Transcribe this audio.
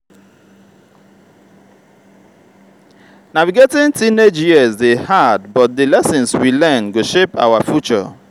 navigating teenage years dey hard but di lessons we learn go shape our future.